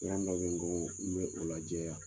Kuntɔrɔ dɔ bɛ n bolo , n bɛ o lajɛ ya.